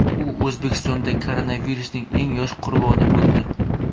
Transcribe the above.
U O‘zbekistonda koronavirusning eng yosh qurboni bo‘ldi .